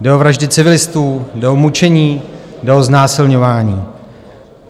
Jde o vraždy civilistů, jde o mučení, jde o znásilňování.